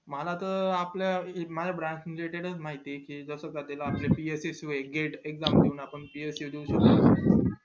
मला त आपल्या branch याचे चे माहित ये जस चालेल आपल्या bsctolgate exam देऊन bsc देऊन